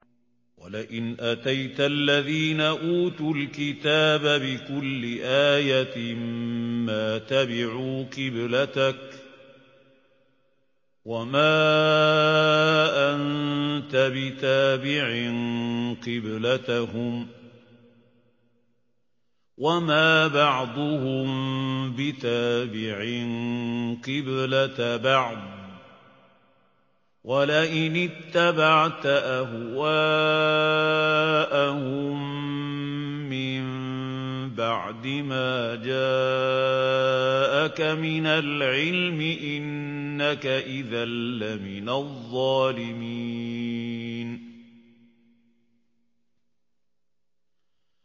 وَلَئِنْ أَتَيْتَ الَّذِينَ أُوتُوا الْكِتَابَ بِكُلِّ آيَةٍ مَّا تَبِعُوا قِبْلَتَكَ ۚ وَمَا أَنتَ بِتَابِعٍ قِبْلَتَهُمْ ۚ وَمَا بَعْضُهُم بِتَابِعٍ قِبْلَةَ بَعْضٍ ۚ وَلَئِنِ اتَّبَعْتَ أَهْوَاءَهُم مِّن بَعْدِ مَا جَاءَكَ مِنَ الْعِلْمِ ۙ إِنَّكَ إِذًا لَّمِنَ الظَّالِمِينَ